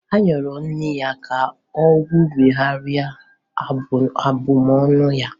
A yọrọ nne ya ka o kwugharịa abụmọnụ ya.